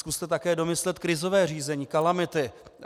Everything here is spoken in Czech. Zkuste také domyslet krizové řízení, kalamity.